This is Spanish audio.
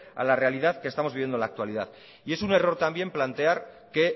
a la realidad que estamos viviendo en la actualidad y es un error también plantear que